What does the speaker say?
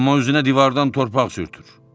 Amma üzünə divardan torpaq sürtür.